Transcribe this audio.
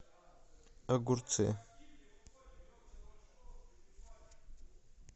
огурцы